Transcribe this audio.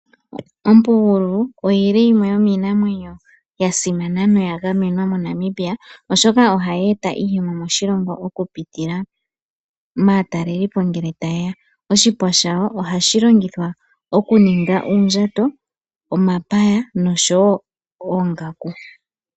Ompugulu oyili yimwe yomiinamwenyo yasimana noya gamenwa moNamibia oshoka ohayeeta iiyemo moshilongo okupitila maatalelipo ngele tayeya, oshipa shawo ohashi longithwa okuninga uundjato, omapaya noshowo oongaku.